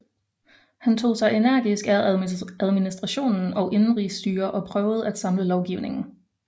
Han tog sig energisk af administration og indenrigsstyre og prøvede at samle lovgivningen